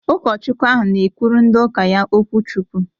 Ụkọchukwu ahụ na-ekwuru ndị ụka ya okwu chukwu